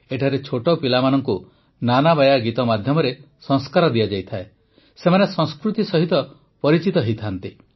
ଏଠାରେ ଛୋଟ ପିଲାମାନଙ୍କୁ ନାନାବାୟା ଗୀତ ମାଧ୍ୟମରେ ସଂସ୍କାର ଦିଆଯାଏ ସେମାନେ ସଂସ୍କୃତି ସହିତ ପରିଚିତ ହୁଅନ୍ତି